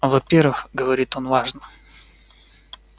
во-первых говорит он важно